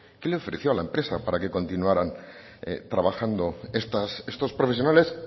qué le ofreció a la empresa para que continuaran trabajando estos profesionales